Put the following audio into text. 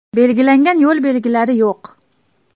Belgilangan yo‘l belgilari yo‘q.